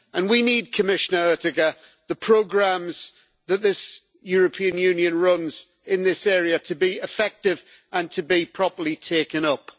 We need, Commissioner Oettinger, the programmes that the European Union runs in this area to be effective and to be properly taken up.